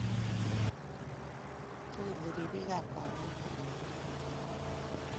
Chikili ribikap kalyet ngolyondonoto